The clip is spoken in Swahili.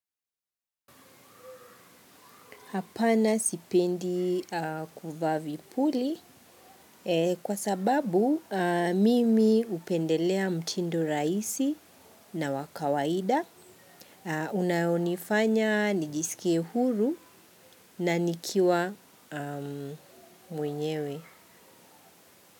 Hapana sipendi kuvaa vipuli kwa sababu mimi hupendelea mtindo rahisi na wa kawaida unaonifanya nijisikie huru na nikiwa mwenyewe.